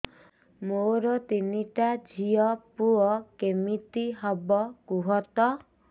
ମୋର ତିନିଟା ଝିଅ ପୁଅ କେମିତି ହବ କୁହତ